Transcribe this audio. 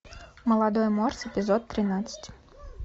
молодой морс эпизод тринадцать